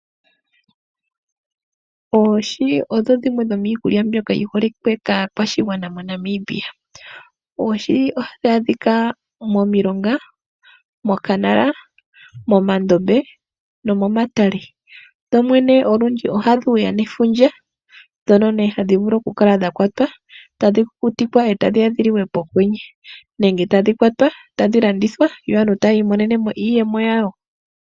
Oohi odho dhimiikulya mbyoka yi holike kaakwashigwana moNamibia. Oohi ohadhi adhika momilonga, mokanala, moondombe, nomomatale. Dho dhene olundji ohadhi ya nefundja, mono hadhi vulu oku kala dha kwatwa, tadhi kukutikwa, etadhi ya dhi liwe pokwenye, nenge tadhi landithwa opo aantu yi imonene mo iiyemo.